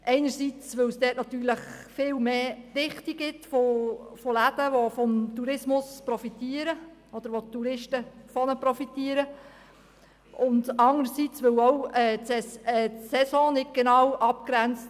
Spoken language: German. Denn einerseits gibt es dort eine höhere Dichte von Läden, die vom Tourismus profitieren oder die Touristen von ihnen, und andererseits ist dort die Saison auch klar abgegrenzt.